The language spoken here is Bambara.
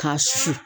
Ka susu